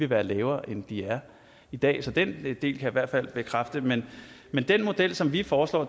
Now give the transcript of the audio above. være lavere end de er i dag så den del kan jeg i hvert fald bekræfte men men den model som vi foreslår